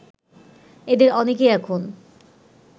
এদের অনেকেই এখন